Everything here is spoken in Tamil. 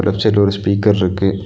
லெஃப்ட் சைடுல ஒரு ஸ்பீக்கர்ருக்கு .